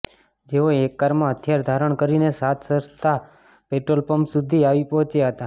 જેઓ એક કારમાં હથિયાર ધારણ કરીને સાત રસ્તા પેટ્રોલ પંપ સુધી આવી પહોંચ્યા હતા